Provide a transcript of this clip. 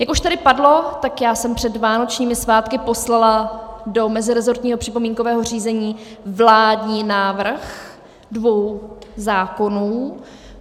Jak už tady padlo, tak já jsem před vánočními svátky poslala do meziresortního připomínkového řízení vládní návrh dvou zákonů.